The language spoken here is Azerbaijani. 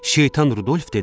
Şeytan Rudolf dedi: